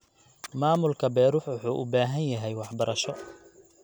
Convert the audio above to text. Maamulka beeruhu wuxuu u baahan yahay waxbarasho.